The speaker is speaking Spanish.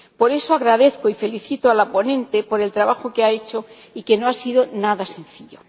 Por eso, agradezco y felicito a la ponente por el trabajo que ha hecho y que no ha sido nada sencillo.